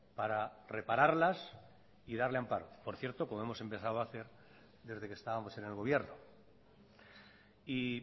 para repararlas y darle amparo por cierto como hemos empezado a hacer desde que estábamos en el gobierno y